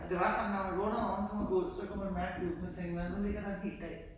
Det var sådan når man vågnede om morgenen kunne man gå ud så kunne man mærke duggen og tænke nåh nu ligger der en hel dag